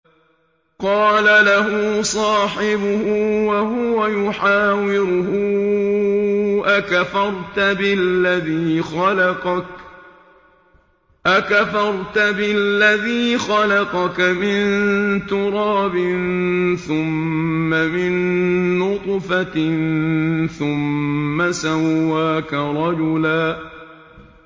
قَالَ لَهُ صَاحِبُهُ وَهُوَ يُحَاوِرُهُ أَكَفَرْتَ بِالَّذِي خَلَقَكَ مِن تُرَابٍ ثُمَّ مِن نُّطْفَةٍ ثُمَّ سَوَّاكَ رَجُلًا